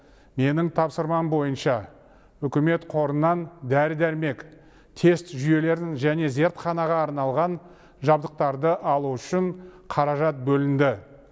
менің тапсырмам бойынша үкімет қорынан дәрі дәрмек тест жүйелерін және зертханаға арналған жабдықтарды алу үшін қаражат бөлінді